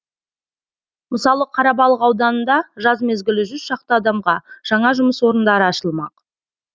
мысалы қарабалық ауданында жаз мезгілі жүз шақты адамға жаңа жұмыс орындары ашылмақ